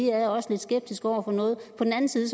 er lidt skeptiske over for noget og på den anden side